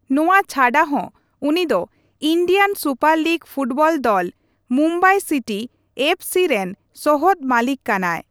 ᱱᱚᱣᱟ ᱪᱷᱟᱰᱟ ᱦᱚᱸ ᱩᱱᱤ ᱫᱚ ᱤᱱᱰᱤᱭᱟᱱ ᱥᱩᱯᱟᱨ ᱞᱤᱜᱽ ᱯᱷᱩᱴᱵᱚᱞ ᱫᱚᱞ ᱢᱩᱢᱵᱟᱭ ᱥᱤᱴᱤ ᱮᱯᱷᱹᱥᱤ ᱨᱮᱱ ᱥᱚᱦᱚᱫ ᱢᱟᱹᱞᱤᱠ ᱠᱟᱱᱟᱭ ᱾